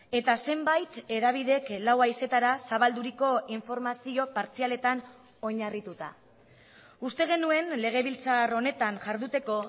eta zenbait hedabidek lau haizetara zabalduriko informazio partzialetan oinarrituta uste genuen legebiltzar honetan jarduteko